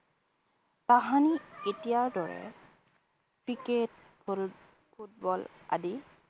তাহানিত এতিয়াৰ দৰে cricket, ফুল football আদি